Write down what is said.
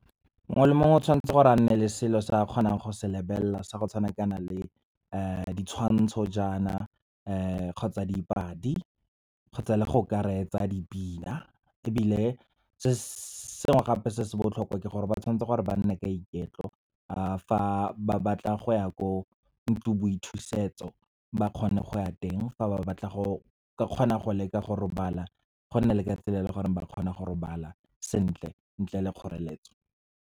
Mongwe le mongwe o tshwanetse gore a nne le selo se a kgonang go se lebelela, sa go tshwana kana le ditshwantsho jaana kgotsa dipadi kgotsa le go ka retsa dipina. Ebile se sengwe gape se se botlhokwa, ke gore ba tshwanetse gore ba nne ka iketlo fa ba batla go ya ko ntlong boithusetso, ba kgone go ya teng, fa ba batla go ka kgona go leka go robala, go nne le ka tsela e leng gore ba kgone go robala sentle, ntle le kgoreletso.